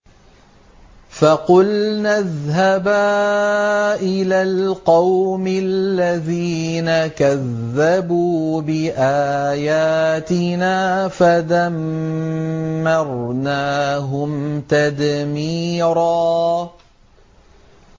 فَقُلْنَا اذْهَبَا إِلَى الْقَوْمِ الَّذِينَ كَذَّبُوا بِآيَاتِنَا فَدَمَّرْنَاهُمْ تَدْمِيرًا